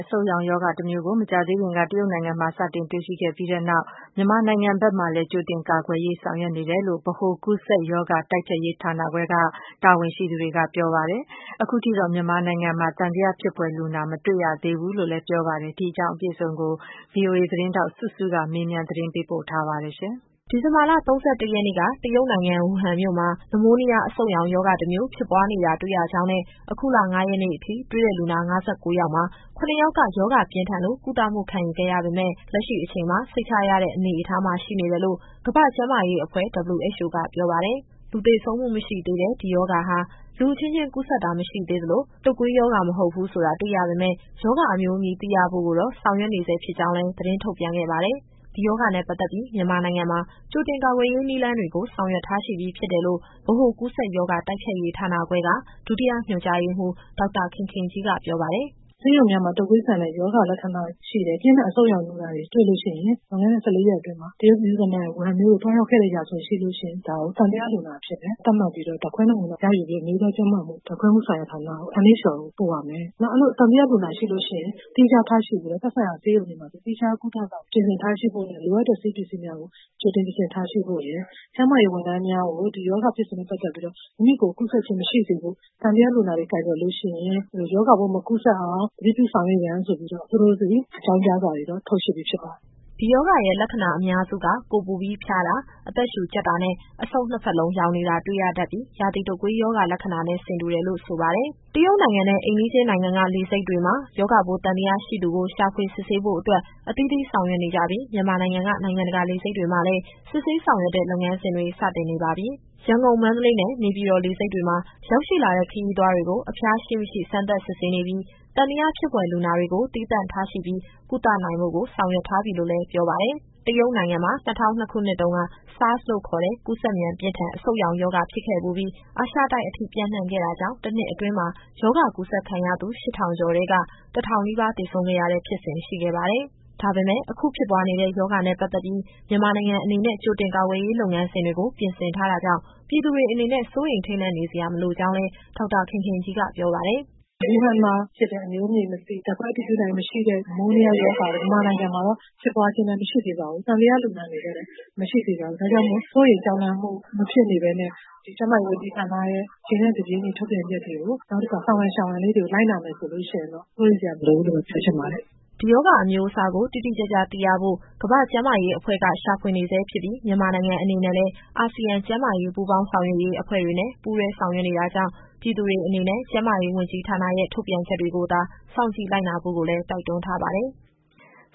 အဆုတ်ရောင် ရောဂါတမျိုးကို မကြာသေးခင်က တရုတ်နိုင်ငံမှာ စတင်တွေ့ရှိ ခဲ့တဲ့နောက် မြန်မာနိုင်ငံမှာ ကြိုတင်ကာကွယ်ရေး တွေ လုပ်ဆောင်နေတယ်လို့ ဗဟိုကူးစက်ရောဂါ တိုက်ဖျက်ရေးဌာနခွဲက တာဝန်ရှိသူ တွေက ပြောပါတယ်။ အခုထိတော့ မြန်မာနိုင်ငံမှာ သံသယဖြစ်ဖွယ် လူနာ မတွေ့ရသေးဘူးလို့လည်း ပြောပါတယ်။ ဒီအကြောင်းအပြည့်အစုံကို ဗွီအိုအေသတင်းထောက် စုစုကမေးမြန်းပေးပို့ထားပါတယ်။ ဒီဇင်ဘာလ ၃၁ရက်နေ့က တရုတ်နိုင်ငံ၊ ဝူဟန်မြို့မှာ နမိုးနီးယား အဆုတ်ရောင် ရောဂါတမျိုး ဖြစ်ပွားနေတာ တွေ့ရကြောင်းနဲ့ အခုလ ၅ရက်နေ့အထိတွေ့တဲ့ လူနာ ၅၉ ယောက်မှာ ၇ ယောက်က ရောဂါပြင်းထန်လို့ ကုသမှုခံယူခဲ့ရပေမယ့် လက်ရှိအချိန်မှာ စိတ်ချရတဲ့အနေအထားမှာ ရှိနေတယ် လို့ ကမ္ဘာ့ကျန်းမာရေးအဖွဲ့ (WHO) က ပြောပါတယ်။ လူသေဆုံးမှုမရှိသေးတဲ့ ဒီရောဂါဟာ လူအချင်းချင်း ကူးစက်တာမရှိသေးသလို၊ တုပ်ကွေးရောဂါ မဟုတ်ဘူး ဆိုတာ တွေ့ရ ပေမယ့် ရောဂါ အမျိုးအမည် သိရဖို့ကိုတော့ ဆောင်ရွက်နေဆဲ ဖြစ်ကြောင်းလည်း သတင်းထုတ်ပြန် ခဲ့ပါတယ်။ ဒီရောဂါနဲ့ပတ်သက်ပြီး မြန်မာနိုင်ငံမှာ ကြိုတင်ကာကွယ်ရေး နည်းလမ်းတွေကို ဆောင်ရွက် ထားရှိပြီး ဖြစ်တယ်လို့ ဗဟိုကူးစက်ရောဂါ တိုက်ဖျက်ရေးဌာနခွဲက ဒုတိယညွှန်ကြားရေးမှူး ဒေါက်တာ ခင်ခင်ကြီးက ပြောပါတယ်။ “ဆေးရုံများမှာ တုပ်ကွေးဆန်တဲ့ရောဂါ လက္ခဏာတွေ ရှိတယ်၊ ပြင်းထန်အဆုတ်ရောင်လူနာတွေ တွေ့လို့ရှိရင် လွန်ခဲ့တဲ့ ၁၄ရက်အတွင်းမှာ တရုတ်ပြည်သူ့သမ္မတနိုင်ငံ၊ ဝူဟန်မြို့ကို သွားရောက်ခဲ့တဲ့ ရာဇဝင်ရှိလို့ရှိရင် ဒါကို သံသယလူနာအဖြစ်နဲ့ သတ်မှတ်ပြီးတော့ ဓာတ်ခွဲနမူနာရယူပြီး အမျိုးသားကျန်းမာမှု ဓာတ်ခွဲမှုဆိုင်ရာဌာန (NHL) ကိုပို့ရမယ်။ နောက် အဲလိုသံသယ လူနာရှိလို့ရှိရင် သီးခြားထားရှိပြီးတော့ သက်ဆိုင်ရာဆေးရုံတွေမှာဆို သီးခြား ကုသဆောင်ပြင်ဆင် ထားရှိဖို့နဲ့ လိုအပ်တဲ့ဆေးပစ္စည်းများကို ကြိုတင်ပြင်ဆင်ထားရှိဖို့ရယ်။ ကျန်းမာရေး ဝန်ထမ်းများကို ဒီရောဂါဖြစ်စဉ်နဲ့ ပတ်သက်ပြီးတော့ မိမိကိုယ်ကူးစက်ခြင်း မရှိစေဖို့ သံသယလူနာတွေကို ကိုင်တွယ်လို့ရှိရင် ရောဂါပိုး မကူးစက်အောင် သတိပြုဆောင်ရွက်ရန်ဆိုပြီးတော့ သူတို့ဆီ အကြောင်းကြားစာတွေတော့ ထုတ်ရှိပြီးဖြစ်ပါတယ်။” ဒီရောဂါရဲ့ လက္ခဏာအများစုက ကိုယ်ပူပြီး ဖျားတာ၊ အသက်ရှူကြပ်တာနဲ့ အဆုတ်နှစ်ဖက်လုံး ယောင်နေတာ တွေ့ရတတ်ပြီး ရာသီတုပ်ကွေးရောဂါ လက္ခဏာနဲ့ ဆင်တူတယ်လို့ ဆိုပါတယ်။ တရုတ်နိုင်ငံနဲ့ အိမ်နီးချင်းနိုင်ငံက လေဆိပ်တွေမှာ ရောဂါပိုးသံသယရှိသူတွေကို ရှာဖွေ စစ်ဆေးဖို့ အတွက် အသီးသီးဆောင်ရွက်နေကြပြီး မြန်မာနိုင်ငံက နိုင်ငံတကာလေဆိပ်တွေမှာလည်း စစ်ဆေး ဆောင်ရွက်တဲ့ လုပ်ငန်းစဉ်တွေ စတင်နေပါပြီ။ ရန်ကုန်၊ မန္တလေးနဲ့ နေပြည်တော်လေဆိပ်တွေမှာ ရောက်ရှိလာတဲ့ ခရီးသွားတွေကို အဖျားရှိမရှိ စမ်းသပ် စစ်ဆေးနေပြီး သံသယဖြစ်ဖွယ် လူနာတွေကို သီးသန့်ထားရှိပြီး ကုသနိုင်ဖို့ကိုလည်း ဆောင်ရွက်ထားပြီ လို့လည်း ပြောပါတယ်။ တရုတ်နိုင်ငံမှာ ၂၀၀၂ခုနှစ်တုန်းက SARS လို့ခေါ်တဲ့ ကူးစက်မြန်ပြင်းထန် အဆုတ်ရောင်ရောဂါ ဖြစ်ခဲ့ဖူးပြီး အာရှတိုက်အထိ ပျံ့နှံ့ခဲ့တာကြောင့် တနှစ်အတွင်းမှာ ရောဂါကူးစက်ခံရသူ ရှစ်ထောင်ကျော်ထဲက တထောင် နီးပါးသေဆုံးခဲ့တဲ့ ဖြစ်စဉ်ရှိခဲ့ပါတယ်။ ဒါပေမယ့် အခုဖြစ်ပွားနေတဲ့ ရောဂါနဲ့ပတ်သက်ပြီး မြန်မာနိုင်ငံအနေနဲ့ ကြိုတင်ကာကွယ်ရေး လုပ်ငန်းစဉ်တွေကို ပြင်ဆင်ထားတာကြောင့် ပြည်သူတွေအနေနဲ့ စိုးရိမ်ထိတ်လန့်နေစရာ မလိုကြောင်းလည်း ဒေါက်တာခင်ခင်ကြီးက ပြောပါတယ်။ “ဝူဟန်မှာဖြစ်တဲ့ အမျိုးအမည်မသိ၊ ဓာတ်ခွဲအတည်ပြုနိုင်ခြင်း မရှိသေးတဲ့ နမိုးနီးယားရောဂါက မြန်မာနိုင်ငံမှာတော့ ဖြစ်ပွားခြင်းလည်း မရှိသေးပါဘူး။ သံသယလူနာအနေနဲ့လည်း မရှိသေးပါဘူး။ ဒါကြောင့်မို့ စိုးရိမ်ကြောက်လန့်မှု မဖြစ်နေဘဲနဲ့ ကျန်းမာရေးဝန်ကြီးဌာနရဲ့ အချိန်နဲ့ တပြေးညီ ထုတ်ပြန်ချက်တွေကို နောက်တခုက ဆောင်ရန်ရှောင်ရန်လေးတွေကို လိုက်နာမယ်ဆိုလို့ရှိရင်တော့ စိုးရိမ်စရာမလိုဘူးလို့ ပြောချင်ပါတယ်။” ဒီရောဂါအမျိုးအစားကို တိတိကျကျသိရဖို့ ကမ္ဘာ့ကျန်းမာရေးအဖွဲ့က ရှာဖွေနေဆဲဖြစ်ပြီး မြန်မာနိုင်ငံ အနေနဲ့လည်း အာဆီယံကျန်းမာရေး ပူးပေါင်းဆောင်ရွက်ရေးအဖွဲ့တွေနဲ့ ပူတွဲဆာင်ရွက် နေတာကြောင့် ပြည်သူတွေအနေနဲ့ ကျန်းမာရေးဝန်ကြီးဌာနရဲ့ ထုတ်ပြန်ချက်တွေကိုသာ စောင့်ကြည့်လိုက်နာဖို့ကိုလည်း တိုက်တွန်းထားပါတယ်။